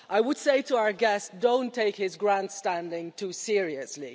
I would say to our guests, don't take his grandstanding too seriously.